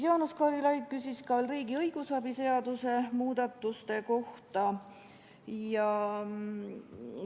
Jaanus Karilaid küsis riigi õigusabi seaduse muudatuste kohta.